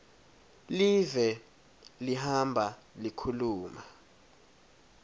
live lihamba likhuluma